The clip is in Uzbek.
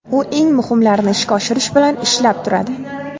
U eng muhimlarini ishga oshirish bilan ishlab turadi.